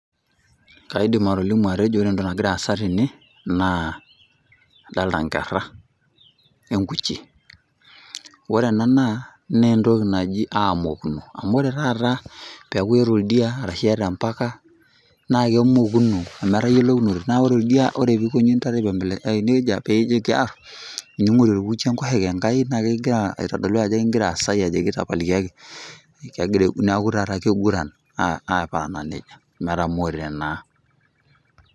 Kaidim atolimi ajo Kore entoki nagira aasai tene naa adolita inkera we enkuche. Ore ena naa entoki naji aamokuno , amu ore taata peaku eata oldia arashu eata empaka naake emokuno atayolounore. Naa ore oldia, ore pee epuonu intare aiko neija nikijoki um, neingorie olkuchi enkoshoke enkai naa kegira aitodolu ajo kingira asai ajoki tapalikiaki. Neaku taa keiguran aparana neija metaa etamoote naa.